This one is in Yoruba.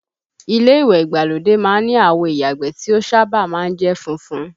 Ilé ìwẹ̀ ìgbàlódé má ń ni àwo ìyàgbẹ́ tí ó sábà má ń jẹ́ funfun